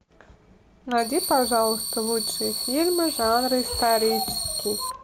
найди пожалуйста лучшие фильмы жанра исторический